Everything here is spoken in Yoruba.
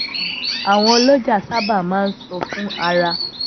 àwọn olojà sábà máa ń sọ fún ara